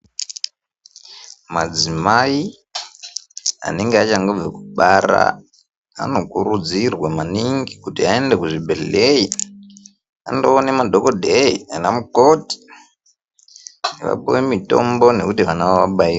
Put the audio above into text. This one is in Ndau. Madzimai anenge achangobva kubara anokurudzirwa maningi kuti aende kuzvibhedhleyi andoona madhokodheyi nanamukoti vapiwe mulitombo nekuti vana vavo vabairwe.